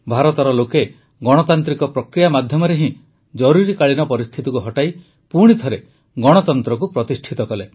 ଭାରତର ଲୋକେ ଗଣତାନ୍ତ୍ରିକ ପ୍ରକ୍ରିୟା ମାଧ୍ୟମରେ ହିଁ ଜରୁରୀକାଳୀନ ପରିସ୍ଥିତିକୁ ହଟାଇ ପୁଣିଥରେ ଗଣତନ୍ତ୍ରକୁ ପ୍ରତିଷ୍ଠିତ କଲେ